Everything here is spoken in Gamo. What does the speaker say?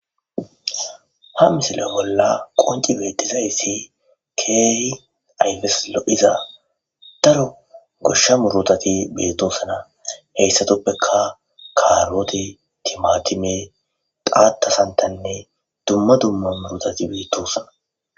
Ha misile bolla qoncid betizays keeh ayfes lo'oza daro gosha murutat betosona hesatuppeka karote, timatime, xatha santhanne dumma dumma murutat betosona.